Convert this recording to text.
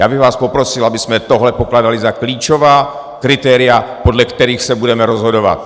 Já bych vás poprosil, abychom tohle pokládali za klíčová kritéria, podle kterých se budeme rozhodovat.